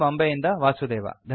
ಬಾಂಬೆಯಿಂದ ವಾಸುದೇವ